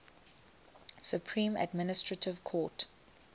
supreme administrative court